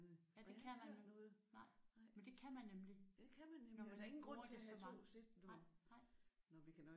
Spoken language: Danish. Ja det kan man. Nej men det kan man nemlig når man ikke bruger det så meget